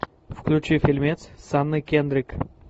включи фильмец с анной кендрик